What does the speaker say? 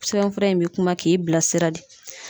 Sɛbɛnfura in bɛ kuma k'i bila sira de.